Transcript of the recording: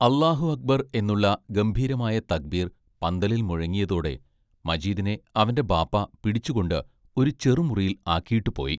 അല്ലാഹു അക്ബർ എന്നുള്ള ഗംഭീരമായ തക്ബീർ പന്തലിൽ മുഴങ്ങിയതോടെ മജീദിനെ അവന്റെ ബാപ്പാ പിടിച്ചുകൊണ്ട് ഒരു ചെറുമുറിയിൽ ആക്കിയിട്ടുപോയി.